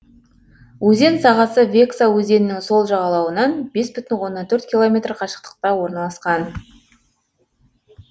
өзен сағасы векса өзенінің сол жағалауынан бес бүтін оннан төрт километр қашықтықта орналасқан